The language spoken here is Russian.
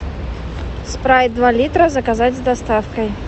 спрайт два литра заказать с доставкой